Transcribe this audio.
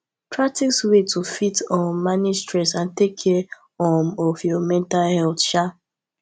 practice ways to fit um manage stress and take care um of your mental health um